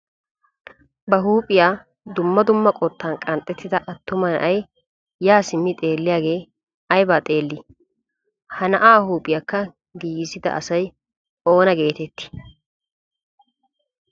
Ba huuphphiyaa dumma dumma qottan qanxxettida attuma na'ay yaa simmidi xeelliyaagee aybaa xeellii? ha na'aa huuphiyaakka giigisida asay oona getettii?